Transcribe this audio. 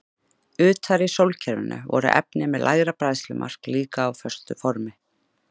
Utar í sólkerfinu voru efni með lægra bræðslumark líka á föstu formi.